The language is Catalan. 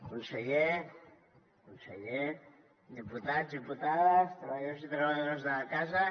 conseller diputats diputades treballadors i treballadores de la casa